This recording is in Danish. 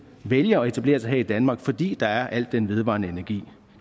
vælger at etablere sig her i danmark fordi der er al den vedvarende energi